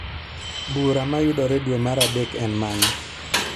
Bura ma yudere dwe mar adek en mane?